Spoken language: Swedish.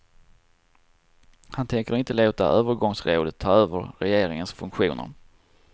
Han tänker inte låta övergångsrådet ta över regeringens funktioner.